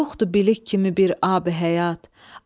Yoxdur bilik kimi bir ab-həyat.